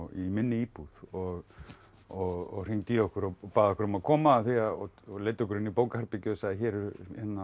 í minni íbúð og og hringdi í okkur og bað okkur um að koma og leiddi okkur inn í bókaherbergið og sagði hér eru